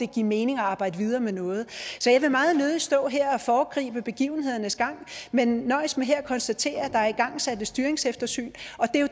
give mening at arbejde videre med noget så jeg vil meget nødig stå her og foregribe begivenhedernes gang men nøjes med at konstatere at der er igangsat et styringseftersyn og